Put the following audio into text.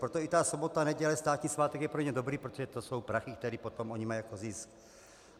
Proto i ta sobota, neděle, státní svátek jsou pro ně dobré, protože to jsou prachy, které potom oni mají jako zisk.